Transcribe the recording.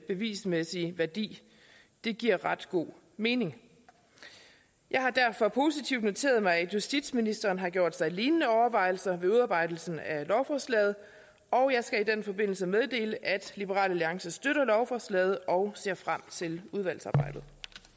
bevismæssige værdi det giver ret god mening jeg har derfor positivt noteret mig at justitsministeren har gjort sig lignende overvejelser ved udarbejdelsen af lovforslaget og jeg skal i den forbindelse meddele at liberal alliance støtter lovforslaget og ser frem til udvalgsarbejdet